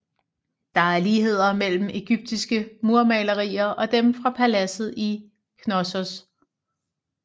Der er ligheder mellem egyptiske murmalerier og dem fra paladset i Knossos